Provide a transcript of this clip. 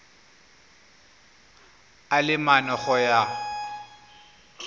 a le mane go ya